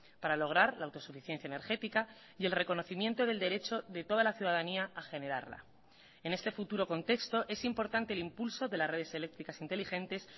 para lograr la autosuficiencia energética y el reconocimiento del derecho de toda la ciudadanía a generarla en este futuro contexto es importante el impulso de las redes eléctricas inteligentes